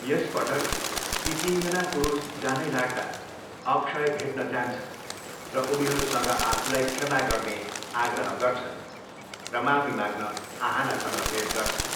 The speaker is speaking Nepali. यसपटक, ती तिनजना पुरुष जानै लाग्दा अक्षय भेट्न जान्छन्, र उनीहरूसँग आफूलाई क्षमा गर्ने आग्रह गर्छन् र माफी माग्न आहानासँग भेट गर्छन्।